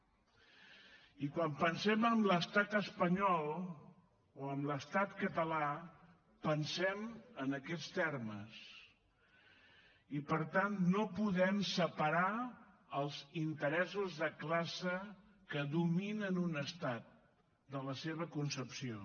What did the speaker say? i quan pensem en l’estat espanyol o en l’estat català pensem en aquests termes i per tant no podem separar els interessos de classe que dominen un estat de la seva concepció